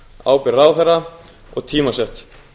ábyrgð ráðherra og tímasett